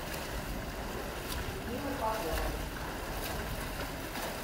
людмилы поповой